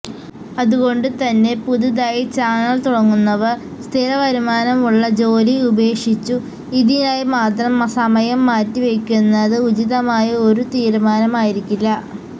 അതുകൊണ്ടുതന്നെ പുതുതായി ചാനല് തുടങ്ങുന്നവര് സ്ഥിരവരുമാനമുള്ള ജോലി ഉപേക്ഷിച്ചു ഇതിനായി മാത്രം സമയം മാറ്റിവെക്കുന്നത് ഉചിതമായ ഒരു തീരുമാനമായിരിക്കില്ല